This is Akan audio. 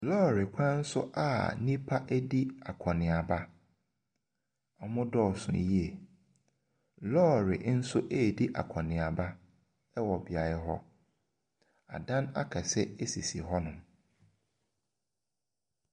Lɔɔre kwan so a nnipa ɛredi akɔneaba, wɔdɔɔ so yie. Lɔɔre nso ɛredi akɔneaba wɔ beaeɛ hɔ. Adan akɛseɛ sisi hɔnom.